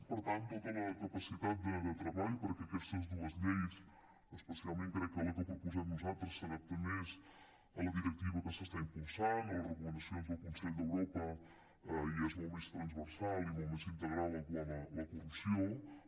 per tant tota la capacitat de treball perquè aquestes dues lleis especialment crec que la que proposem nosaltres s’adapta més a la directiva que s’està impulsant a les recomanacions del consell d’europa i és molt més transversal i molt més integral quant a la corrupció